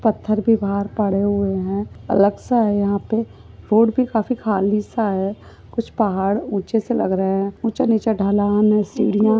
पत्थर भी बाहर पड़े हुए है। अलग सा है यहां पे रोड भी काफी खालीसा है। कुछ पहाड़ ऊँचे से लग रहे है। ऊँचा नीचा ढलान है। सीढ़ियां--